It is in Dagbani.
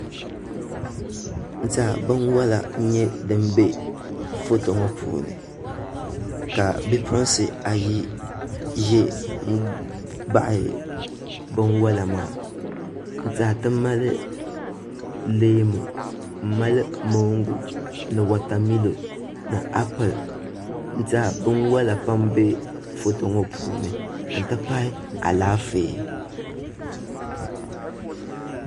N tiɛha binwola n nyɛ din bɛ foto ŋo puuni ka bipuɣunsi ayi ʒɛ n baɣa binwola maa n tiɛha ti mali leemu n mali mongu ni wotamilo ni applɛ n tiɛha binwola pam n bɛ foto ŋo puuni n ti pahi Alaafee